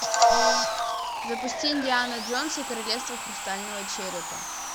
запусти индиана джонс и королевство хрустального черепа